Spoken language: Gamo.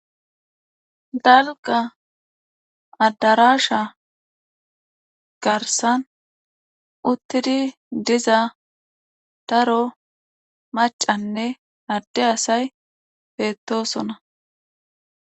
Dalgga addaraasha garssan uttidi diza daro maccanne adde asay beettoosona.